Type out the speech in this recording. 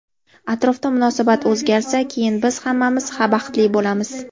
Atrofda munosabat o‘zgarsa, keyin biz hammamiz baxtli bo‘lamiz.